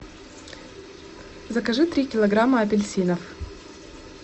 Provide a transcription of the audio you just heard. закажи три килограмма апельсинов